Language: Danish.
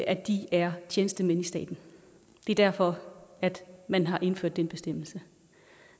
at de er tjenestemænd i staten det er derfor at man har indført den bestemmelse